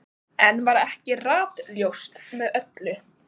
Enn var ekki ratljóst með öllu.